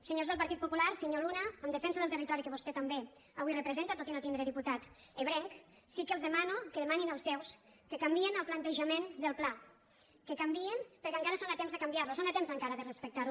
senyors del partit popular senyor luna en defensa del territori que vostè també avui representa tot i no tindre diputat ebrenc sí que els demano que demanin als seus que canviïn el plantejament del pla que canviïn perquè encara són a temps de canviar lo són a temps encara de respectar ho